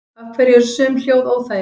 Af hverju eru sum hljóð óþægileg?